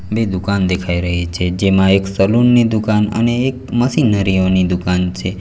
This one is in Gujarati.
બે દુકાન દેખાઈ રહી છે જેમાં એક સલૂન ની દુકાન અને એક મશીનરીઓ ની દુકાન છે.